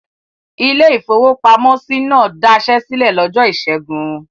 Ilé-ìfowópamọ́sí náà dasẹ́ sílẹ̀ lọ́jọ́ ìṣẹ́gun.